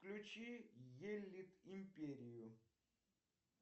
включи елит империю